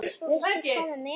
Viltu koma með?